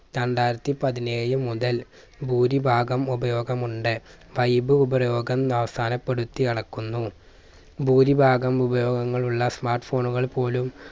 രണ്ടായിരത്തി പതിനേഴ് മുതൽ ഭൂരിഭാഗം ഉപയോഗം ഉണ്ട്. fibe ഉപരോഗം അവസാനപ്പെടുത്തി അളക്കുന്നു. ഭൂരിഭാഗം ഉപയോഗങ്ങളുള്ള smart phone കൾ പോലും